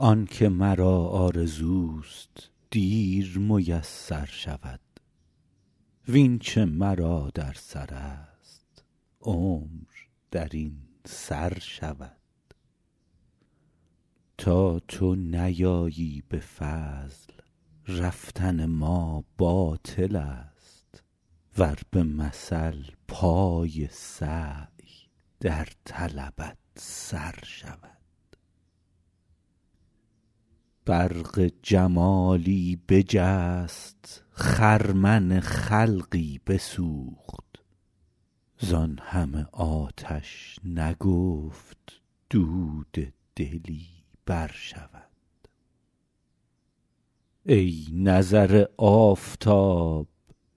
آن که مرا آرزوست دیر میسر شود وین چه مرا در سرست عمر در این سر شود تا تو نیایی به فضل رفتن ما باطلست ور به مثل پای سعی در طلبت سر شود برق جمالی بجست خرمن خلقی بسوخت زان همه آتش نگفت دود دلی برشود ای نظر آفتاب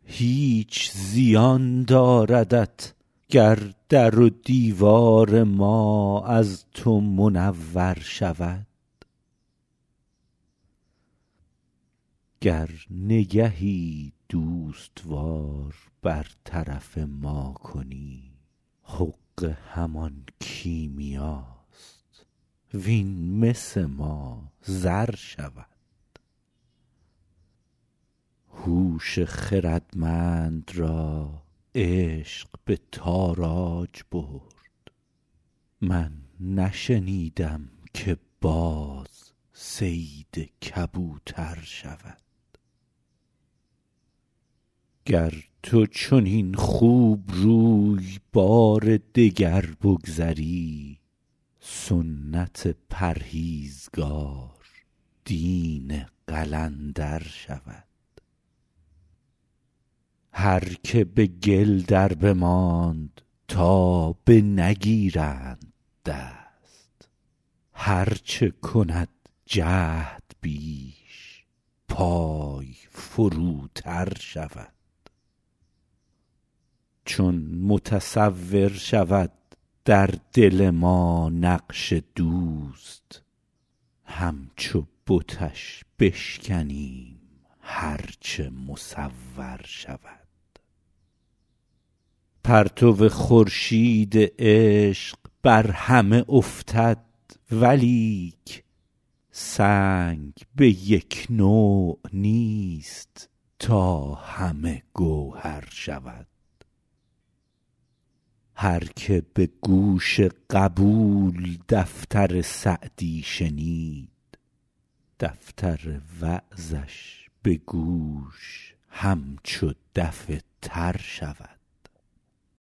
هیچ زیان داردت گر در و دیوار ما از تو منور شود گر نگهی دوست وار بر طرف ما کنی حقه همان کیمیاست وین مس ما زر شود هوش خردمند را عشق به تاراج برد من نشنیدم که باز صید کبوتر شود گر تو چنین خوبروی بار دگر بگذری سنت پرهیزگار دین قلندر شود هر که به گل دربماند تا بنگیرند دست هر چه کند جهد بیش پای فروتر شود چون متصور شود در دل ما نقش دوست همچو بتش بشکنیم هر چه مصور شود پرتو خورشید عشق بر همه افتد ولیک سنگ به یک نوع نیست تا همه گوهر شود هر که به گوش قبول دفتر سعدی شنید دفتر وعظش به گوش همچو دف تر شود